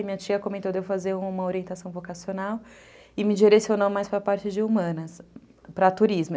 E minha tia comentou de eu fazer uma orientação vocacional e me direcionou mais para a parte de humanas, para turismo.